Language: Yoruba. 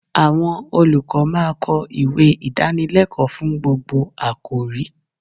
Àwọn olùkọ́ máa kọ ìwé Ìdánilẹ́kọ̀ọ́ fún gbogbo àkọ̀rí.